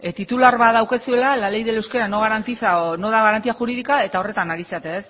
titular bat daukazuela la ley del euskera no garantiza o no da garantía jurídica eta horretan ari zarete